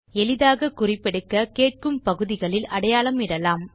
எளிதாகக் குறிப்பெடுக்க கேட்கும் பகுதிகளில் அடையாளம் இடலாம்